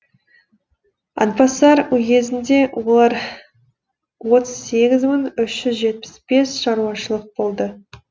атбасар уезінде олар отыз сегіз мың үш жүз жетпіс бес шаруашылық болды